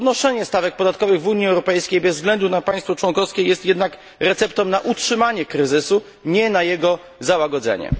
Podnoszenie stawek podatkowych w Unii Europejskiej bez względu na państwo członkowskie jest jednak receptą na utrzymanie kryzysu, nie na jego załagodzenie.